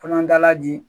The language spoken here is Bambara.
Kɔnɔdala di